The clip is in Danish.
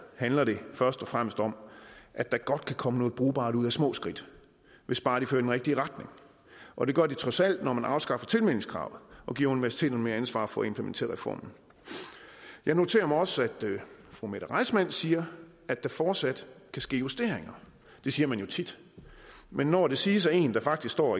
handler det først og fremmest om at der godt kan komme noget brugbart ud af små skridt hvis bare de fører i den rigtige retning og det gør de trods alt når man afskaffer tilmeldingskravet og giver universiteterne mere ansvar for at implementere reformen jeg noterer mig også at fru mette reissmann siger at der fortsat kan ske justeringer det siger man jo tit men når det siges af en der faktisk står